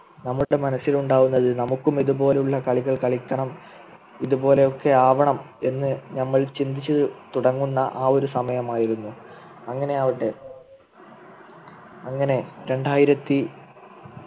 നമ്മുടെ മനസ്സിലുണ്ടാകുന്നത് നമുക്കും ഇതുപോലെയുള്ള കളികൾ കളിക്കണം ഇതുപോലെയൊക്കെ ആവണമെന്ന് നമ്മൾ ചിന്തിച്ചു തുടങ്ങുന്ന ആ ഒരു സമയമായിരുന്നു അങ്ങനെയാവട്ടെ അങ്ങനെ രണ്ടായിരത്തി